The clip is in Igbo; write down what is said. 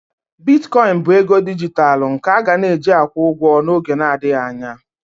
Bitkoịn bụ ego dijitalụ nke a ga-eji na-akwụ ụgwọ n'oge adịghị anya